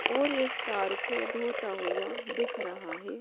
और इस कार को धोता हुआ दिख रहा है।